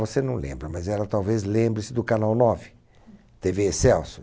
Você não lembra, mas ela talvez lembre-se do canal nove, Tevê Excelsior.